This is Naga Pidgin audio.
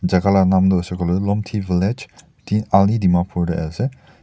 jagah laga nam tu hoise koile lhomithi village teen ali dimapur ase.